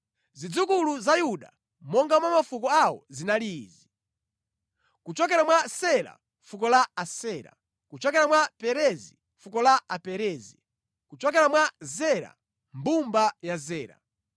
Zidzukulu za Yuda monga mwa mafuko awo zinali izi: kuchokera mwa Sela, fuko la Asera; kuchokera mwa Perezi, fuko la Aperezi; kuchokera mwa Zera, mbumba ya Zera.